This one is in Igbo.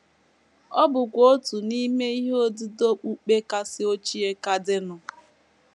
Ọ bụkwa otu n’ime ihe odide okpukpe kasị ochie ka dịnụ.